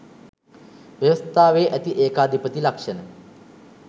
ව්‍යවස්ථාවේ ඇති ඒකාධිපති ලක්ෂණ